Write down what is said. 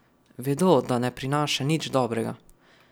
Vedo, da ne prinaša nič dobrega.